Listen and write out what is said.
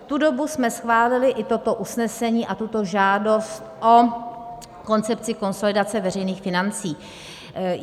V tu dobu jsme schválili i toto usnesení a tuto žádost o koncepci konsolidace veřejných financí.